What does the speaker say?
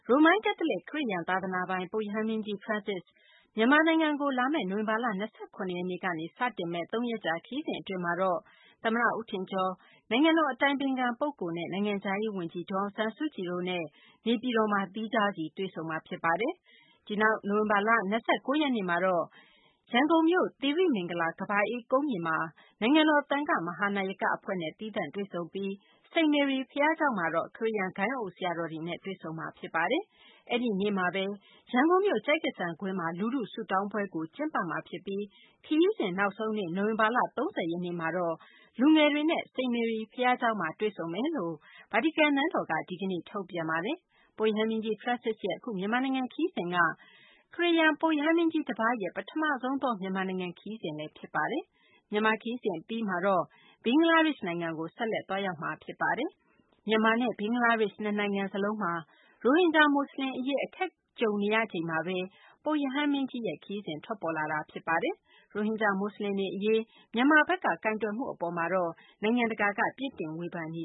ရိုမန်ကက်သလစ် ခရစ်ယာန် သာသနာပိုင် ပုပ်ရဟန်းမင်းကြီး Francis မြန်မာနိုင်ငံကို လာမယ့် နိုဝင်ဘာလ ၂၇ ရက်နေ့ကနေ စတင်မယ့် ၃ ရက်ကြာ ခရီးစဉ် အတွင်းမှာတော့ သမ္မတ ဦးထင်ကျော်၊ နိုင်ငံတော် အတိုင်ပင်ခံ ပုဂ္ဂိုလ်နဲ့ နိုင်ငံခြားရေး ဝန်ကြီး ဒေါ်အောင်ဆန်းစုကြည်တို့နဲ့ နေပြည်တော်မှာသီးခြားစီ တွေ့ဆုံမှာ ဖြစ်ပါတယ်။ နိုဝင်ဘာလ ၂၉ ရက်နေ့မှာတော့ သီရိမင်္ဂလာ ကမ္ဘာအေးကုန်းမြေမှာ နိုင်ငံတော် သံဃမဟာနာယက အဖွဲ့နဲ့ သီးသန့်တွေ့ဆုံပြီး စိန့်မေရီ ဘုရားကျောင်းမှာတော့ ခရစ်ယာန် ဂိုဏ်းအုပ် ဆရာတော်တွေနဲ့ တွေ့ဆုံမှာ ဖြစ်ပါတယ်။ အဲဒီနေ့မှာဘဲ ရန်ကုန်မြို့ ကျိုက္ကဆံကွင်းမှာ လူထု ဆုတောင်းပွဲကိုလည်း ကျင်းပမှာ ဖြစ်ပြီး ခရီးစဉ် နောက်ဆုံးနေ့ နိုဝင်ဘာလ ၃၀ ရက်နေ့မှာတော့ လူငယ်တွေနဲ့တော့ စိန့်မေရီ ဘုရားကျောင်းမှာ တွေ့ဆုံမယ်လို့ ဗာတီကန် နန်းတော်က ဒီကနေ့ ထုတ်ပြန်ပါတယ်။ ပုပ်ရဟန်းမင်းကြီး Francis ရဲ့ အခု မြန်မာနိုင်ငံ ခရီးစဉ်က ပုပ်ရဟန်းမင်းကြီး တပါးရဲ့ ပထမဆုံးသော မြန်မာနိုင်ငံ ခရီးစဉ် ဖြစ်ပါတယ်။ မြန်မာ ခရီးစဉ် အပြီးမှာတော့ ပုပ်ရဟန်းမင်းကြီးက ဘင်္ဂလားဒေရှ့် နိုင်ငံကို ဆက်လက် သွားရောက်မှာ ဖြစ်ပါတယ်။ မြန်မာနဲ့ ဘင်္ဂလားဒေရှ့် နှစ်နိုင်ငံ စလုံးမှာ ရိုဟင်ဂျာ မူဆလင် အရေး အခက်ကြုံနေရချိန် မှာဘဲ ပုပ်ရဟန်းမင်းကြီးရဲ့ ခရီးစဉ် ထွက်ပေါ်လာတာပါ။ ရိုဟင်ဂျာ မူဆလင်တွေ အရေး မြန်မာနိုင်ငံဘက်က ကိုင်တွယ်မှု အပေါ် နိုင်ငံတကာဘက်က ပြစ်တင်ဝေဖန်နေ